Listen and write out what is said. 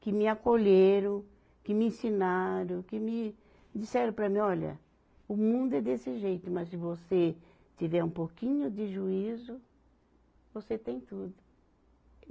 que me acolheram, que me ensinaram, que me disseram para mim, olha, o mundo é desse jeito, mas se você tiver um pouquinho de juízo, você tem tudo.